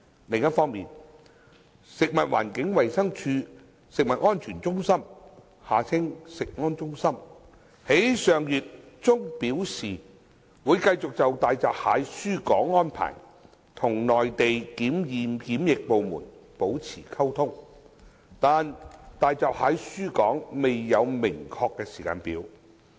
另一方面，食物環境衞生署食物安全中心於上月中表示，會繼續就大閘蟹輸港安排與內地檢驗檢疫部門保持溝通，但大閘蟹輸港未有明確時間表。